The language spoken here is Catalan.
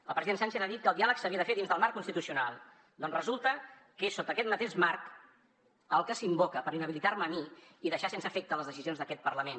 el president sánchez ha dit que el diàleg s’havia de fer dins del marc constitucional doncs resulta que és sota aquest mateix marc el que s’invoca per inhabilitar me a mi i deixar sense efecte les decisions d’aquest parlament